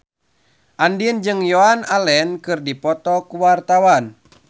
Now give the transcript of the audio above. Andien jeung Joan Allen keur dipoto ku wartawan